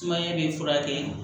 Sumaya bɛ furakɛ